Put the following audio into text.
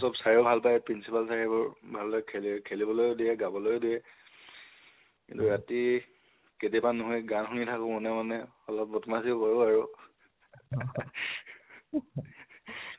চব চাইও ভাল পায়, principal sir এ সেইবোৰ ভাল্দৰে খেল খেলিবলৈ দিয়ে, গাবলৈ দিয়ে। কিন্তু ৰাতি কাতিয়াবা নহয় গান শুনি থাকো মনে মনে। অলপ বদমাছিও কৰো আৰু